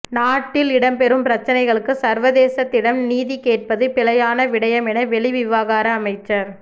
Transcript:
நாட்டில் இடம்பெறும் பிரச்சினைகளுக்கு சர்வதேசத்திடம் நீதிகேட்பது பிழையான விடயம் என வெளிவிவகார அமைச்சர